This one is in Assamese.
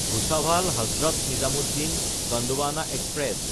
ভূচাভাল–হজৰত নিজামুদ্দিন গণ্ডৱানা এক্সপ্ৰেছ